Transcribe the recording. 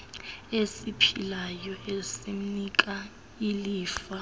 esiphilayo esimnika ilifa